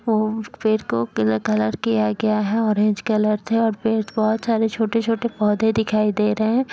वो उस पेड़ को कलर कलर किया गया है ऑरेंज कलर से और पेड़ बहुत सारे छोटे छोटे पौधे दिखाई दे रहे हैं।